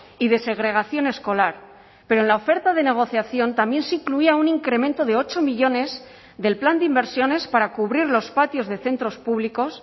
y de segregación escolar pero en la oferta de negociación también se incluía un incremento de ocho millónes del plan de inversiones para cubrir los patios de centros públicos